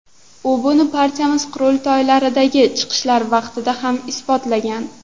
U buni partiyamiz qurultoylaridagi chiqishlari vaqtida ham isbotlagan.